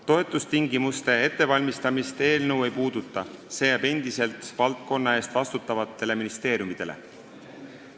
Toetustingimuste ettevalmistamist eelnõu ei käsitle, see jääb endiselt valdkonna eest vastutavate ministeeriumide teha.